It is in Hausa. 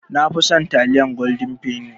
Nafi son taliyar Golden penny